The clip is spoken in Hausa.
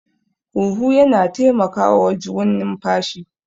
huhu yana taimakawawajwn numfashi